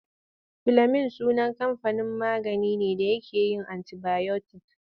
Filemin sunan kamfanin magani ne da yake yin antibayotik.